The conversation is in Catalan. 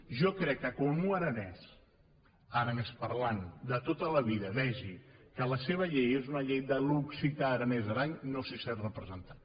jo crec que quan un aranès aranesoparlant de tota la vida vegi que la seva llei és una llei d’occità aranès aran no s’hi sent representat